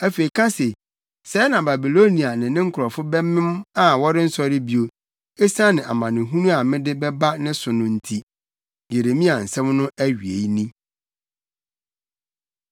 Afei ka se, ‘Sɛɛ na Babilonia ne ne nkurɔfo bɛmem a wɔrensɔre bio, esiane amanehunu a mede bɛba ne so no nti.’ ” Yeremia nsɛm no awiei ni.